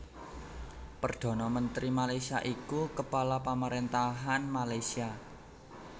Perdhana Mentri Malaysia iku kepala pamaréntahan Malaysia